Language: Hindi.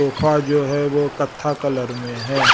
सोफा जो है वो कत्था कलर मे है।